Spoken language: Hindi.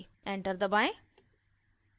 enter दबाएं